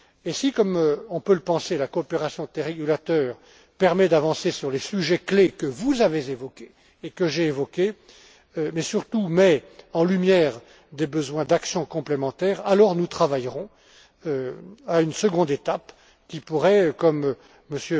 Si, comme on peut le penser, la coopération des régulateurs permet d'avancer sur les sujets clés que nous avons évoqués, mais surtout met en lumière des besoins d'actions complémentaires, alors nous travaillerons à une seconde étape, qui pourrait, comme M.